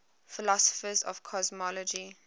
philosophers of cosmology